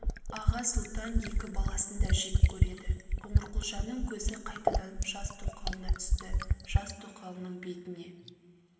аға сұлтан екі баласын да жек көреді қоңырқұлжаның көзі қайтадан жас тоқалына түсті жас тоқалының бетіне